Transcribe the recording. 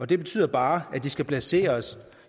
det betyder bare at de skal placeres